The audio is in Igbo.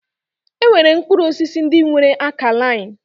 E nwere mkpụrụ osisi ndị nwere akalain.